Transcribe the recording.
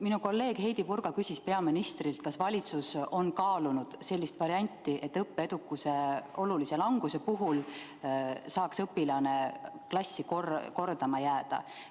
Minu kolleeg Heidy Purga küsis peaministrilt, kas valitsus on kaalunud sellist varianti, et õppeedukuse suure languse puhul saaks õpilane klassi kordama jääda.